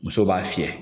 Muso b'a fiyɛ